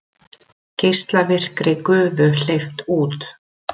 Geislavirkri gufu hleypt út